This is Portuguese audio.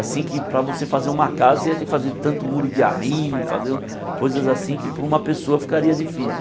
Assim que para você fazer uma casa você ia ter que fazer tanto muro de arrime, fazer coisas assim que para uma pessoa ficaria difícil.